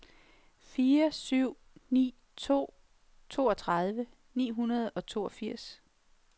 fire syv ni to toogtredive ni hundrede og toogfirs